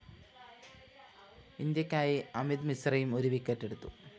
ഇന്ത്യക്കായി അമിത് മിശ്രയും ഒരു വിക്കറ്റെടുത്തു